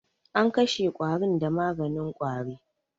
An kashe ƙwarin da maganin ƙwari.